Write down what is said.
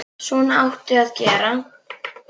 Svona áttu að gera.